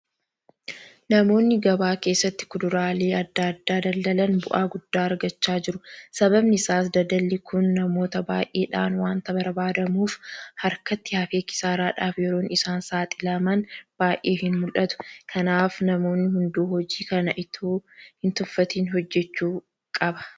Namoonni gabaa keessatti kuduraalee adda addaa daldalan bu'aa guddaa argachaa jiru. Sababni isaas daldalli kun namoota baay'eedhaan waanta barbaadamuuf harkatti hafee kisaaraadhaaf yeroon isaan saaxilaman baay'ee hinmul'atu. Kanaaf namni hunduu hojii kana itoo hintuffatin hojjechuu qaba.